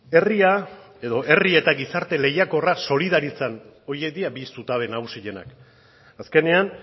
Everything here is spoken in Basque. herri eta gizarte lehiakorra solidaritzan horiek dira bi zutabe nagusienak azkenean